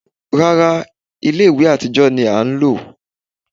Rárá, ilé ìwẹ̀ àtijọ́ ni a ń lò